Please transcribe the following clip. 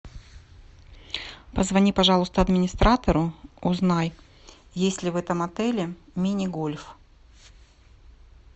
позвони пожалуйста администратору узнай есть ли в этом отеле мини гольф